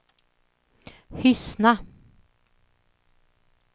Hyssna